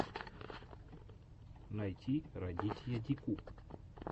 найти радитья дику